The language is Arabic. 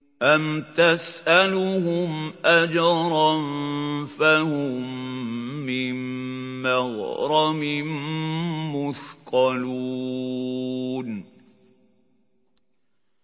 أَمْ تَسْأَلُهُمْ أَجْرًا فَهُم مِّن مَّغْرَمٍ مُّثْقَلُونَ